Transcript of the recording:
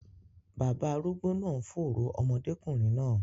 Baba arúgbó náà ń fòòró ọmọdékùnrin náà.